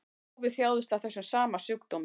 Páfi þjáðist af þessum sama sjúkdómi